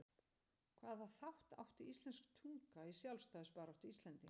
Hvaða þátt átti íslensk tunga í sjálfstæðisbaráttu Íslendinga?